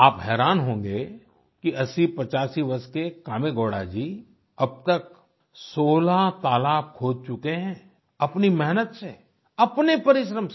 आप हैरान होंगे कि 8085 वर्ष के कामेगौड़ा जी अब तक 16 तालाब खोद चुके हैं अपनी मेहनत से अपने परिश्रम से